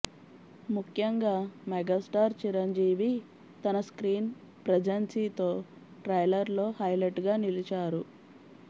ముఖ్యంగా మెగాస్టార్ చిరంజీవి తన స్క్రీన్ ప్రేజన్సీతో ట్రైలర్ లో హైలెట్ గా నిలిచారు